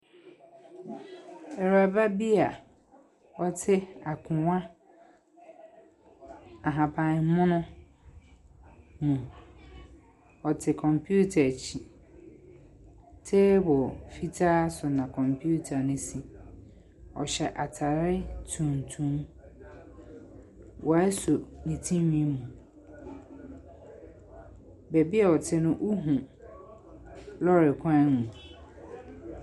Ɛwuraba bi a ɔte akonwa ahaban mono ho. Ɔte computer akyi. Table fitaa so na computer no si. Ɔhyɛ ataare tuntum. Wɔaso ne tiriwii mu. Baabi ɔte no, wohu lɔrikwan mu.